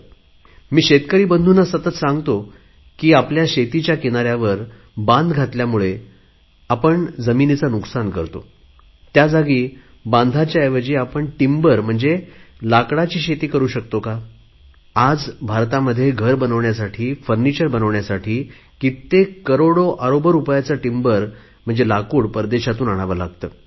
मी शेतकरी बंधूना सतत सांगतो की आपण आपल्या शेताच्या किनाऱ्यावर बांध घातल्यामुळे जमिनीचे नुकसान करतो त्या जागी बांधाच्या ऐवजी आपण टिम्बर म्हणजे लाकडाची शेती करु शकतो का आज भारतात घर बनवण्यासाठी लाकडी सामान बनवण्यासाठी कित्येक करोडो रुपयाचे इमारती लाकूड परदेशातून आणावे लागते